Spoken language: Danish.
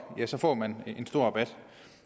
får man en stor rabat